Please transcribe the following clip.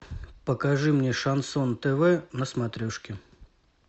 покажи мне шансон тв на смотрешке